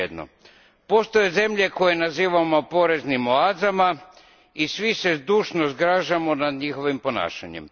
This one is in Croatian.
Svejedno. Postoje zemlje koje nazivamo poreznim oazama i svi se zdušno zgražamo nad njihovim ponašanjem.